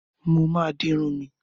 Mo máa di irun mi.